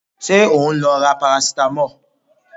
Ṣé o ń lọ ra parasitamọ́ọ̀?